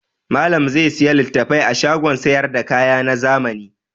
Malam zai sayi littafai a shagon sayar da kaya na zamani.